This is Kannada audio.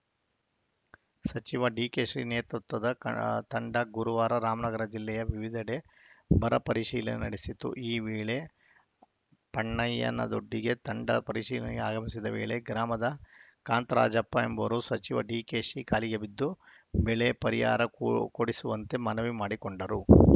ಸಚಿವ ಡಿಕೆಶಿ ನೇತೃತ್ವದ ಕ ತಂಡ ಗುರುವಾರ ರಾಮನಗರ ಜಿಲ್ಲೆಯ ವಿವಿಧೆಡೆ ಬರ ಪರಿಶೀಲನೆ ನಡೆಸಿತು ಈ ವೇಳೆ ಪಣ್ಣಯ್ಯನದೊಡ್ಡಿಗೆ ತಂಡ ಪರಿಶೀಲನೆಗೆ ಆಗಮಿಸಿದ ವೇಳೆ ಗ್ರಾಮದ ಕಾಂತರಾಜಪ್ಪ ಎಂಬುವರು ಸಚಿವ ಡಿಕೆಶಿ ಕಾಲಿಗೆ ಬಿದ್ದು ಬೆಳೆ ಪರಿಹಾರ ಕೊ ಕೊಡಿಸುವಂತೆ ಮನವಿ ಮಾಡಿಕೊಂಡರು